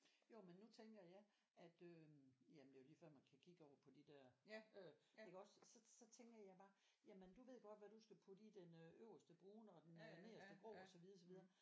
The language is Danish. Jo men nu tænker jeg at øh jamen det er jo lige før man kan kigge over på de der øh iggås så så tænker jeg bare jamen du ved godt hvad du skal putte i den øh øverste brune og den nederste grå og så videre så videre